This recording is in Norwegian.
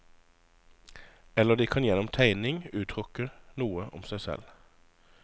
Eller de kan gjennom tegning uttrykke noe om seg selv.